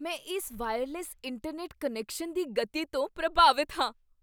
ਮੈਂ ਇਸ wireless internet connection ਦੀ ਗਤੀ ਤੋਂ ਪ੍ਰਭਾਵਿਤ ਹਾਂ।